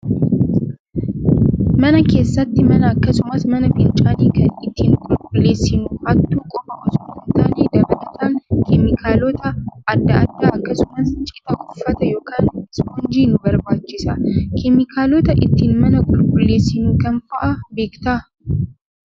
Mana keessatti mana akkasumas mana fincaanii kan ittiin qulqulleessinu hattuu qofaa osoo hin taane dabalataan keemikaalota adda addaa akkasumas citaa uffataa yookaan ispoonjii nu barbaachisa. Keemikaalota ittiin mana qulqulleessinu kam fa'aa beektaa?